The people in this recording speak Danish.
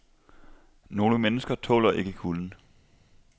Nogle mennesker tåler ikke kulden.